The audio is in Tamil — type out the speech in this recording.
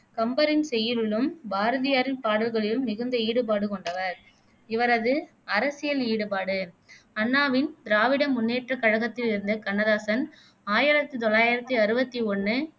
கம்பரின் செய்யுளிலும், பாரதியாரின் பாடல்களிலும் மிகுந்த ஈடுபாடு கொண்டவர் இவரது அரசியல் ஈடுபாடு அண்ணாவின் திராவிட முன்னேற்ற கழகத்தில் இருந்த கண்ணதாசன் ஆயிரத்தி தொள்ளாயிரத்தி அறுவத்தி ஒண்ணு